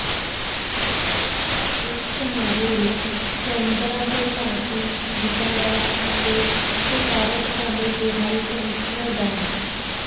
ਇਸ ਸਮਾਰੋਹ ਵਿੱਚ ਕੈਨਬਰਾ ਤੋਂ ਭਾਰਤੀ ਦੂਤਾਵਾਸ ਅਤੇ ਸਫ਼ਾਰਤਖਾਨੇ ਦੇ ਹਾਈ ਕਮਿਸ਼ਨਰ ਡਾ